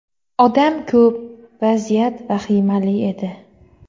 Odam ko‘p, vaziyat vahimali edi.